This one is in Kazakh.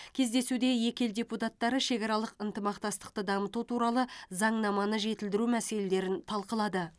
кездесуде екі ел депутаттары шекаралық ынтымақтастықты дамыту туралы заңнаманы жетілдіру мәселелерін талқылады